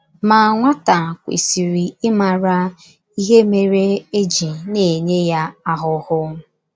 Ma,, nwata kwesịrị ịmara ihe mere e ji na - enye ya ahụhụ.